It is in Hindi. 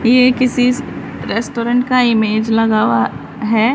ये किसी रेस्टोरेंट का इमेज लगा हुआ है।